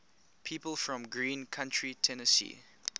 people from greene county tennessee